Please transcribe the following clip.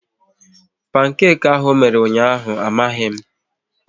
Pankeki ahụ ọ mere ụnyaahụ amaghị m